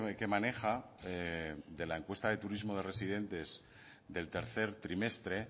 que maneja de la encuesta de turismo de residentes del tercer trimestre